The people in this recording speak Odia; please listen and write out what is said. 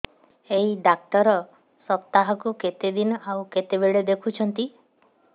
ଏଇ ଡ଼ାକ୍ତର ସପ୍ତାହକୁ କେତେଦିନ ଆଉ କେତେବେଳେ ଦେଖୁଛନ୍ତି